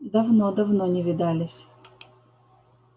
давно давно не видались